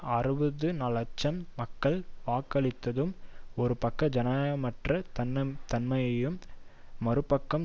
அறுபது இலட்சம் மக்கள் வாக்களித்ததும் ஒரு பக்கம் ஜனநாயகமற்ற தன்மையையும் மறுபக்கம்